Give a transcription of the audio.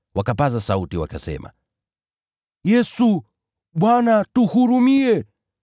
wakapaza sauti, wakasema, “Yesu, Bwana, tuhurumie!”